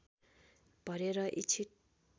भरेर इच्छित